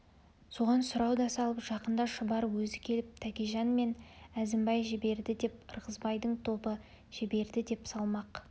соған сұрау да салып жақында шұбар өзі келіп тәкежан мен әзімбай жіберді деп ырғызбайдың тобы жіберді деп салмақ